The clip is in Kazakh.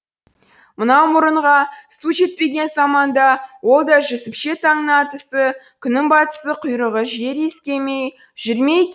мынау мұрынға су жетпеген заманда ол да жүсіпше таңның атысы күннің батысы құйрығы жер иіскемей жүр ме